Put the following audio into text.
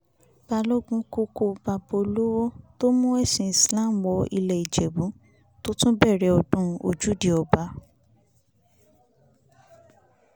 balógun kúkú bàbá olówó tó mú ẹ̀sìn islam wọ ilé ìjẹ̀bù tó tún bẹ̀rẹ̀ ọdún ojúde ọba